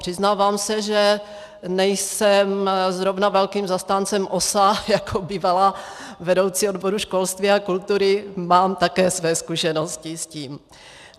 Přiznávám se, že nejsem zrovna velkým zastáncem OSA, jako bývalá vedoucí odboru školství a kultury mám také své zkušenosti s tím.